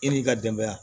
E n'i ka denbaya